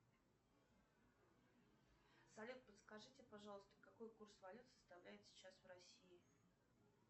салют подскажите пожалуйста какой курс валют составляет сейчас в россии